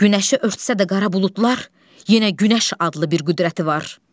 Günəşi örtsə də qara buludlar, yenə günəş adlı bir qüdrəti var.